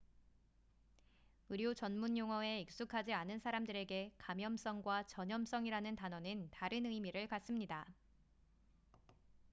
의료 전문 용어에 익숙하지 않은 사람들에게 감염성과 전염성이라는 단어는 다른 의미를 갖습니다